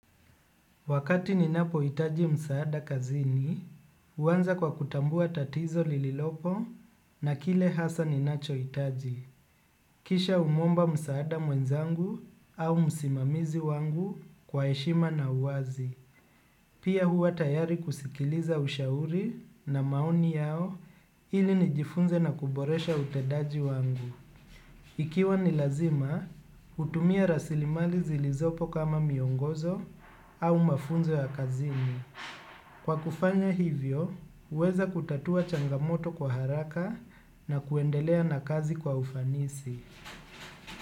Wakati ninapo hitaji msaada kazini, huanza kwa kutambua tatizo lililopo na kile hasa ninacho hitaji. Kisha humomba msaada mwenzangu au msimamizi wangu kwa heshima na uwazi. Pia huwa tayari kusikiliza ushauri na maoni yao ili nijifunze na kuboresha utendaji wangu. Ikiwa ni lazima, hutumia rasilimali zilizopo kama miongozo au mafunzo ya kazini. Kwa kufanya hivyo, huweza kutatua changamoto kwa haraka na kuendelea na kazi kwa ufanisi.